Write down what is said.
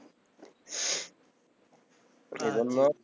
এজন্য